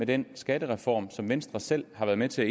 den skattereform som venstre selv har været med til